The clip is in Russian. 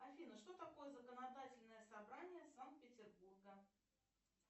афина что такое законодательное собрание санкт петербурга